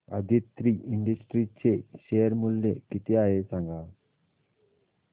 Aditri industries चे share मूल्य किती आहे सांगा